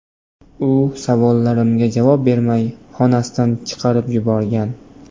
U savollarimga javob bermay, xonasidan chiqarib yuborgan.